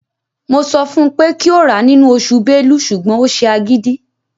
Mo sọ fun pé kí ó rà á nínú oṣù Bélú ṣùgbọ́n ó ṣe agídí.